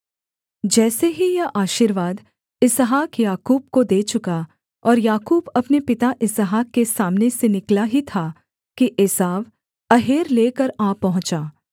जैसे ही यह आशीर्वाद इसहाक याकूब को दे चुका और याकूब अपने पिता इसहाक के सामने से निकला ही था कि एसाव अहेर लेकर आ पहुँचा